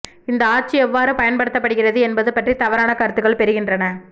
இந்த ஆட்சி எவ்வாறு பயன்படுத்தப்படுகிறது என்பது பற்றி தவறான கருத்துக்கள் பெருகுகின்றன